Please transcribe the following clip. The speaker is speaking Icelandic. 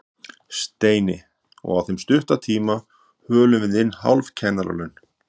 Steini, og á þeim stutta tíma hölum við inn hálf kennaralaun